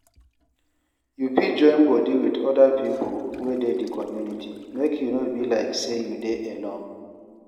You fit join body with oda pipo wey dey di community make e no be like sey you dey alone